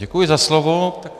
Děkuji za slovo.